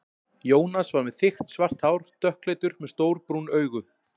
Jónas var með þykkt svart hár, dökkleitur, með stór brún augu.